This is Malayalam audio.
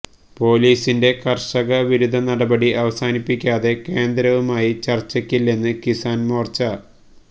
പൊലീസിന്റെ കർഷക വിരുദ്ധ നടപടി അവസാനിപ്പിക്കാതെ കേന്ദ്രവുമായി ചർച്ചയ്ക്കില്ലെന്ന് കിസാൻ മോർച്ച